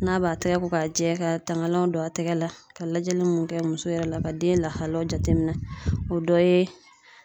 N'a b'a tɛgɛ ko ka jɛ ka tangalanw don a tɛkɛ la ka lajɛli mun kɛ muso yɛrɛ la ka den lahalaw jateminɛ, o dɔ ye